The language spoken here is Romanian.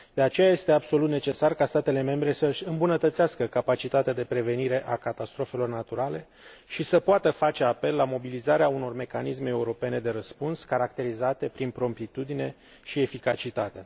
De aceea, este absolut necesar ca statele membre să și îmbunătățească capacitatea de prevenire a catastrofelor naturale și să poată face apel la mobilizarea unor mecanisme europene de răspuns, caracterizate prin promptitudine și eficacitate.